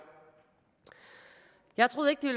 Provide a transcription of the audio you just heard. jeg troede ikke